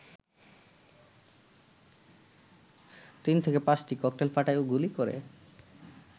৩-৫টি cocktail ফাটায় ও গুলি কর